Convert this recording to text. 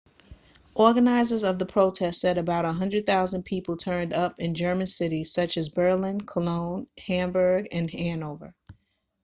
organisers of the protest said about 100,000 people turned up in german cities such as berlin cologne hamburg and hanover